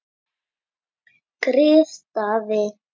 Grið Daði!